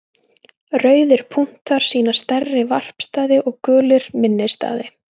Rauðir punktar sýna stærri varpstaði og gulir minni staði.